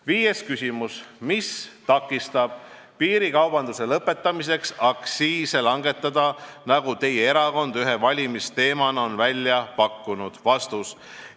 Viies küsimus: "Mis takistab piirikaubanduse lõpetamiseks aktsiise langetada, nagu teie erakond ühe valimisteemana on välja pakkunud?